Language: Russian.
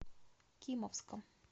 кимовском